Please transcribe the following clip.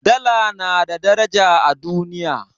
Dala na da daraja a duniya.